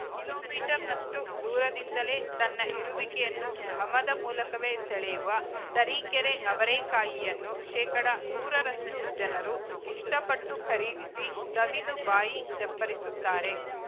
kilo ಮೀಟರ್ನಷ್ಟುದೂರದಿಂದಲೇ ತನ್ನ ಇರುವಿಕೆಯನ್ನು ಘಮದ ಮೂಲಕವೇ ಸೆಳೆಯುವ ತರೀಕೆರೆ ಅವರೇಕಾಯಿಯನ್ನು ಶೇಕಡಾ ನೂರರಷ್ಟುಜನರು ಇಷ್ಟಪಟ್ಟು ಖರೀದಿಸಿ ಸವಿದು ಬಾಯಿ ಚಪ್ಪರಿಸುತ್ತಾರೆ